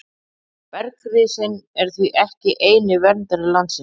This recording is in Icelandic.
Bergrisinn er því ekki eini verndari landsins.